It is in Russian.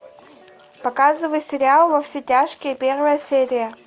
показывай сериал во все тяжкие первая серия